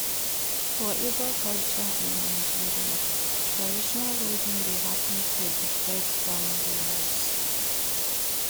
For Igbo culture in Nigeria traditional wedding de happen for di bride family house